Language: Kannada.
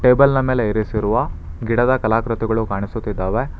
ಟೇಬಲ್ ನ ಮೇಲೆ ಇರಿಸಿರುವ ಗಿಡದ ಕಲಾಕೃತಿಗಳು ಕಾಣಿಸುತ್ತಿದ್ದಾವೆ.